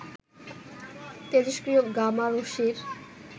তেজস্ক্রিয় gamma রশ্মির